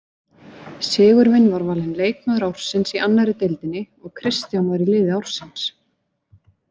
Sigurvin var valinn leikmaður ársins í annarri deildinni og Kristján var í liði ársins.